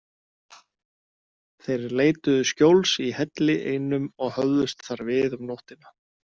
Þeir leituðu skjóls í helli einum og höfðust þar við um nóttina.